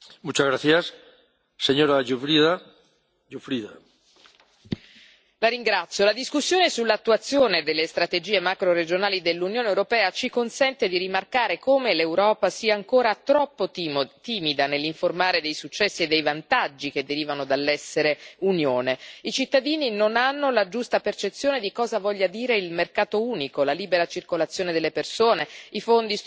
Signor Presidente, onorevoli colleghi, la discussione sull'attuazione delle strategie macroregionali dell'Unione europea ci consente di rimarcare come l'Europa sia ancora troppo timida nell'informare dei successi e dei vantaggi che derivano dall'essere Unione. I cittadini non hanno la giusta percezione di cosa vogliano dire il mercato unico, la libera circolazione delle persone, i fondi strutturali, gli investimenti europei.